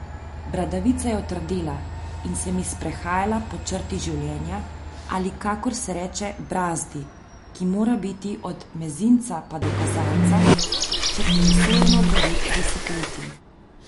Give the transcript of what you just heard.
Bradavica je otrdela in se mi sprehajala po črti življenja, ali kakor se reče brazdi, ki mora biti od mezinca pa do kazalca, če ti je sojeno devet desetletij.